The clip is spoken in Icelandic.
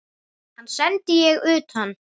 Hann sendi ég utan.